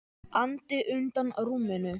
andi undan rúminu.